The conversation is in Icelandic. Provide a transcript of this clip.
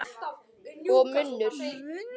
Og munnur